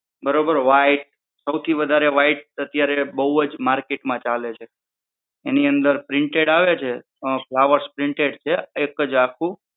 બરોબર white સૌથી વધારે white બોવ જ market માં ચાલે છે. એની અંદર printed આવે છે flowers printed એક જ આખું